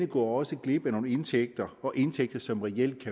går også glip af nogle indtægter og indtægter som reelt